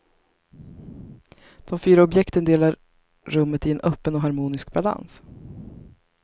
De fyra objekten delar rummet i en öppen och harmonisk balans.